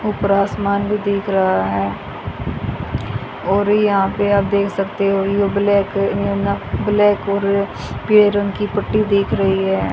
ऊपर आसमान भी दिख रहा है और यहां पे आप देख सकते हो यो ब्लैक ब्लैक और पीले रंग की पट्टी दिख रही है।